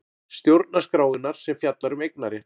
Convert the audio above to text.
Stjórnarskrárinnar sem fjallar um eignarétt.